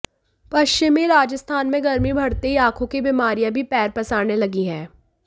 पश्चिमी राजस्थान में गर्मी बढ़ते ही आंखों की बीमारियां भी पैर पसारने लगी हैं